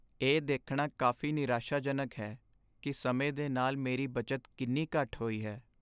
ਇਹ ਦੇਖਣਾ ਕਾਫ਼ੀ ਨਿਰਾਸ਼ਾਜਨਕ ਹੈ ਕਿ ਸਮੇਂ ਦੇ ਨਾਲ ਮੇਰੀ ਬਚਤ ਕਿੰਨੀ ਘੱਟ ਹੋਈ ਹੈ।